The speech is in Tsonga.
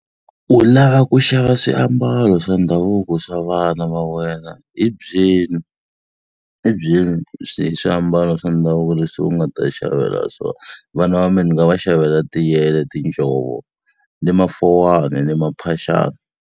U lava ku xava swiambalo swa ndhavuko swa vana va wena hi byeli hi byeli hi swiambalo swa ndhavuko leswi u nga ta xavela swona. Vana va mina ni nga va xavela tiyele, tinjhovo ni mafowani ni maphaxani.